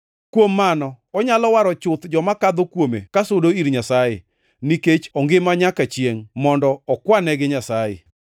Kuom mano onyalo waro chuth joma kadho kuome kasudo ir Nyasaye, nikech ongima nyaka chiengʼ mondo okwanegi Nyasaye.